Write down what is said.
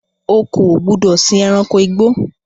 O kò gbúdọ̀ sìn ẹranko igbó!